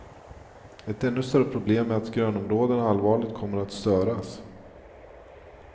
Ett ännu större problem är att grönområdena allvarligt kommer att störas.